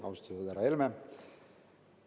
Austatud härra Helme!